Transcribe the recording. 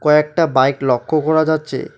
কয়েকটা বাইক লক্য করা যাচ্ছে।